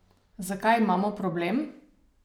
Zakaj imamo problem?